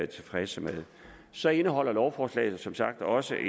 tilfredse med så indeholder lovforslaget som sagt også